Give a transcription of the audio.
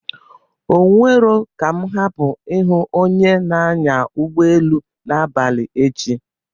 Onwero ka mụ hapụ ịhụ onye n'anya ụgbọelu n'abalị echi.